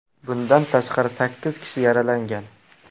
Bundan tashqari, sakkiz kishi yaralangan.